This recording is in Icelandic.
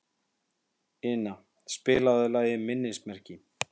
Ina, spilaðu lagið „Minnismerki“.